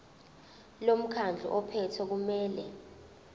lomkhandlu ophethe kumele